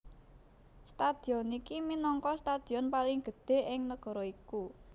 Stadion iki minangka stadion paling gedhé ing negara iku